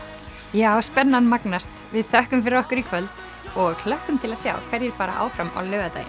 já spennan magnast við þökkum fyrir okkur í kvöld og hlökkum til að sjá hverjir fara áfram á laugardaginn